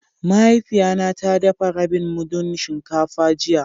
Mahaifiya na ta dafa rabin mudun shinkafa jiya.